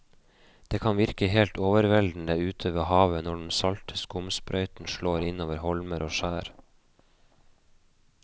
Det kan virke helt overveldende ute ved havet når den salte skumsprøyten slår innover holmer og skjær.